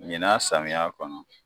Ɲina samiya kɔnɔ